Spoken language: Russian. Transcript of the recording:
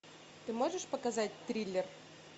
ты можешь показать триллер